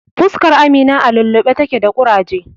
Fuskar Amina a lulluɓe take da ƙuraje.